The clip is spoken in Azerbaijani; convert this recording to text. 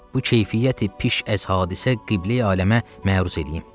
bu keyfiyyəti piş əz hadisə Qibleyi aləmə məruz eləyim.